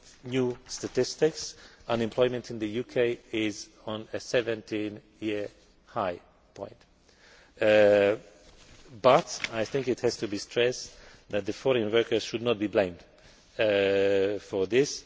from new statistics, unemployment in the UK is at a 17 year high, but I think it has to be stressed that foreign workers should not be blamed for this.